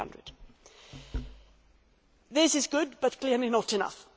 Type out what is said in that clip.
300. This is good but is clearly not enough.